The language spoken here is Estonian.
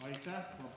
Aitäh!